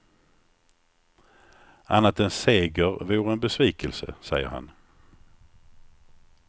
Annat än seger vore en besvikelse, säger han.